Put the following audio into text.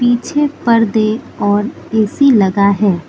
पीछे पर्दे और ए_सी लगा है।